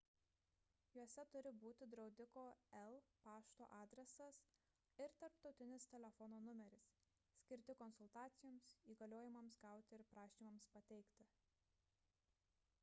juose turi būti draudiko el pašto adresas ir tarptautinis telefono numeris skirti konsultacijoms įgaliojimams gauti ir prašymams pateikti